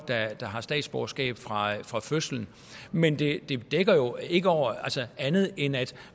der har statsborgerskab fra fra fødslen men det dækker jo ikke over andet end at